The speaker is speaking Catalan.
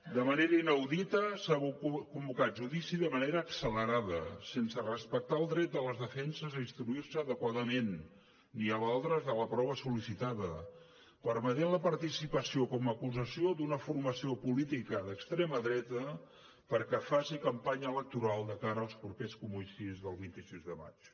de manera inaudita s’ha convocat judici de manera accelerada sense respectar el dret de les defenses a instruir se adequadament ni a valdre’s de la prova sol·licitada permetent la participació com a acusació d’una formació política d’extrema dreta perquè faci campanya electoral de cara als propers comicis del vint sis de maig